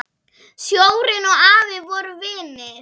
Sjórinn og afi voru vinir.